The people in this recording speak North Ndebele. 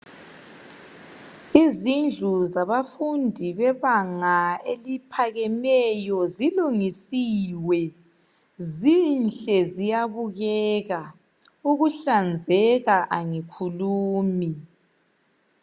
Izindlu zabafundi bebanga eliphakemeyo zilungisiwe, zinhle ziyabukeka, ukuhlanzeka angikhulumi.